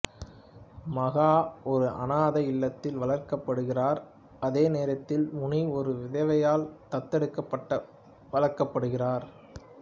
மகா ஒரு அனாதை இல்லத்தில் வளர்க்கப்படுகிறார் அதே நேரத்தில் முனி ஒரு விதவையால் தத்தெடுக்கப்பட்டு வளர்க்கப்படுகிறார்